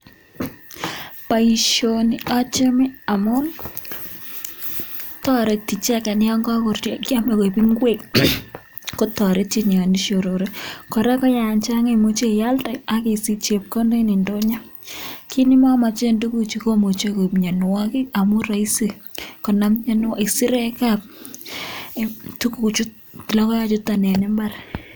Boisioni achame amun, toreti icheget yon kagoruryo kyam ak koik ing'wek kotoretin yon ishorore. Kora ko yan chanag imuche ialde ak isich chepkondok en ndonyo. Kit ne momochen tuguchu komuche koib mianwogik amun roisi konam isirek logoechuton en mbar.